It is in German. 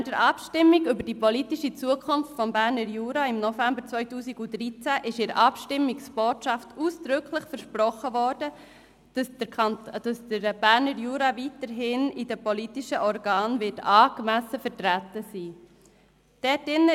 Während der Abstimmung über die politische Zukunft des Berner Juras im November 2013 wurde in der Abstimmungsbotschaft ausdrücklich versprochen, dass der Berner Jura in den politischen Organen weiterhin angemessen vertreten sein werde.